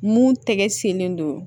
Mun tɛgɛ senlen don